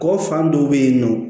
Kɔ fan dɔw be yen nɔ